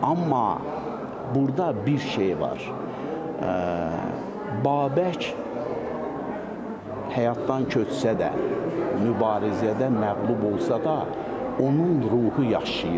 Amma burda bir şey var, Babək həyatdan köçsə də, mübarizədə məğlub olsa da, onun ruhu yaşayır.